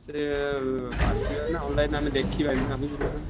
ସିଏ ଆସିବେ ନା online ରୁ ଆମେ ଦେଖିବାନୀ ନା।